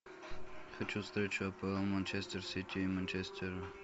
хочу встречу апл манчестер сити и манчестера